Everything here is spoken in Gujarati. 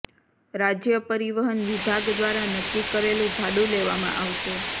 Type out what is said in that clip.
રાજ્ય પરિવહન વિભાગ દ્વારા નક્કી કરેલુ ભાડુ લેવામાં આવશે